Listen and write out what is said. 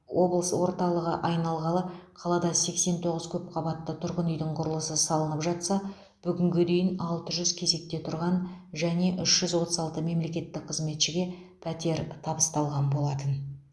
облыс орталығы айналғалы қалада сексен тоғыз көпқабатты тұрғын үйдің құрылысы салынып жатса бүгінге дейін алты жүз кезекте тұрған және үш жүз отыз алты мемлекеттік қызметшіге пәтер табысталған болатын